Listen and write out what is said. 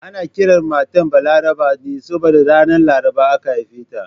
Ana kiran matar Balaraba ne saboda ranar Laraba aka haife ta